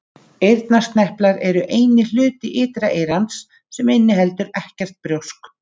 Eyrnasneplar eru eini hluti ytra eyrans sem inniheldur ekkert brjósk.